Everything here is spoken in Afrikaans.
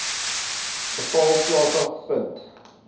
geval plaasge vind